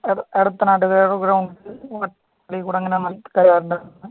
എടത്തനാട്ട് ഗ്രൗണ്ടിൽ